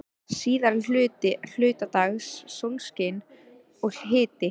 Síðari hluta dags sólskin og hiti.